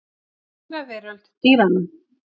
Undraveröld dýranna.